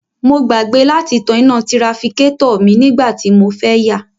Mo gbàgbé láti tan iná tirafikátọ̀ mi nígbà tí mo fẹ́ yà